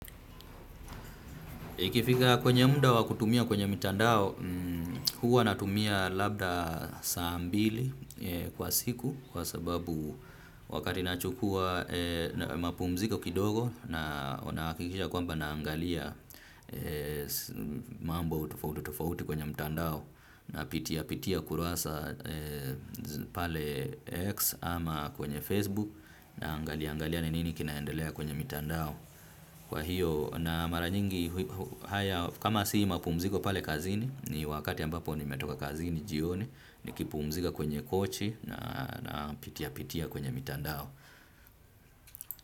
Ikifika kwenye mda wa kutumia kwenye mitandao, huwa natumia labda saambili kwa siku kwa sababu wakati nachukua mapumziko kidogo na nahakikisha kwamba na angalia mambo tofauti tofauti kwenye mitandao na pitia pitia kurasa pale X ama kwenye Facebook na angalia angalia ni nini kinaendelea kwenye mitandao. Kwa hiyo na maranyingi haya kama si mapumziko pale kazini ni wakati ambapo nimetoka kazini jioni ni kipumzika kwenye kochi na pitia pitia kwenye mitandao.